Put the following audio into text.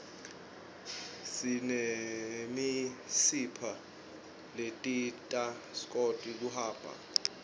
sinemisipha ledidta skwoti kuhamba